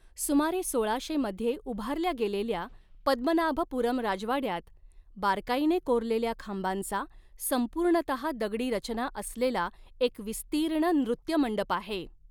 सुमारे सोळाशे मध्ये उभारल्या गेलेल्या पद्मनाभपूरम राजवाड्यात, बारकाईने कोरलेल्या खांबांचा, संपूर्णतहा दगडी रचना असलेला एक विस्तीर्ण नृत्यमंडप आहे.